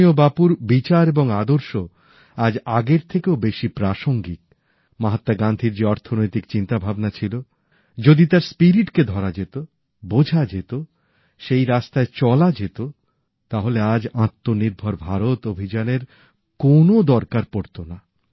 পূজনীয় বাপুর বিচার এবং আদর্শ আজ আগের থেকেও বেশি প্রাসঙ্গিক মহাত্মা গান্ধীর যে অর্থনৈতিক চিন্তা ভাবনা ছিল যদি তার মর্মকে ধরা যেত বোঝা যেত সেই রাস্তায় চলা যেত তাহলে আজ আত্মনির্ভর ভারত অভিযানের কোন দরকার পড়তো না